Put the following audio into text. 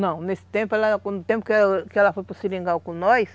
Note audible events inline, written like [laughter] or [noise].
Não, nesse tempo ela [unintelligible] que ela foi para o Seringal com nós,